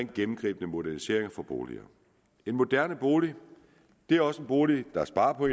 gennemgribende moderniseringer af boliger en moderne bolig er også en bolig der sparer på